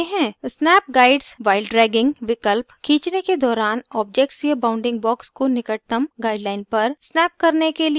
snap guides while dragging विकल्प खींचने के दौरान objects या bounding box को निकटतम guidelines पर snap करने के लिए मदद करता है